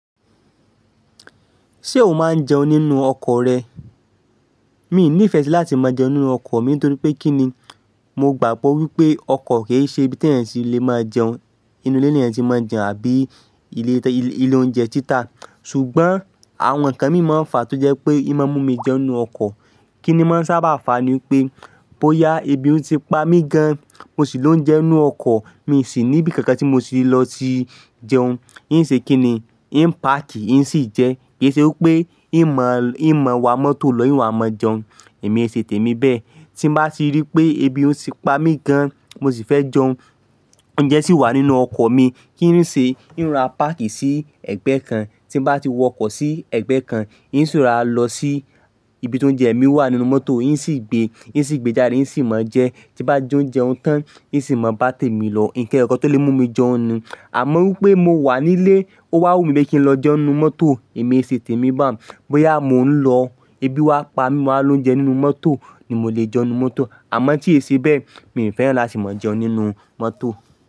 Ṣé o máa ń jẹun nínú ọkọ̀ rẹ? Mi i ní ìfẹ́ si láti máa jẹun nínú ọkọ̀ mi nítorí pé kí ni? Mo gbàgbọ́ wípé ọkọ̀ kì í ṣe ibi tí èeyan ti le máa jẹun. Inú ilé ni èeyan ti máa ń jẹun àbí ilé-oúnjẹ títa. Ṣùgbọ́n àwọn ǹnkan mìí ma fà á tó jẹ́ pé ìmi máa mú mi jẹun nínú ọkọ̀. Kí ni máa ń sábà fà á ni pé bóyá ebi ti pa mí gan mo sì ló ń jẹun nínú ọkọ̀ mi sì níbi kankan tí mo ti lọ ti jẹun. Í n ṣe kí ni? Ì n pàkí, ì n sì jẹ, kí ṣe wípé ìmọ̀ wa mọ́tò lọ, ìwà máa jẹun. Èmi ṣe tèmi bẹ́ẹ̀. Tí n bá ti rí i pé ebi o ti pa mí gan mo sì fẹ́ jẹun, oúnjẹ sì wà nínú ọkọ̀ mi, kí n ṣe? Í n ra páàkì sí ẹ̀gbẹ́ kan, tí n bá ti wọkọ̀ sí ẹ̀gbẹ́ kan, ì ń ṣi ròra lọ sí ibi tó ń jẹ mi wà nínú mọ́tò, ì ń sì gbé, ì ń sì gbé jáde, ì ń sì máa jẹ. Tí n bá jẹ ounje un tán, ì ń sì máa bá tèmi lọ. Nǹkan eyokan tí ó lè mú mi jẹun ni. Àmọ́ wípé mo wà nílé ó wá wù mí pé kí n lọ jẹun nínú mọ́tò, èmi i ṣe tèmi báún. Bóyá mò ń lọ, ebi wá pa mí mo wáa ló ń jẹ nínú mọ́tò ni mo lè jẹun nínú mọ́tò. Àmọ́ tí èéṣe bẹ́ẹ̀ mi ò fẹ́ràn láti máa jẹun nínú mọ́tò.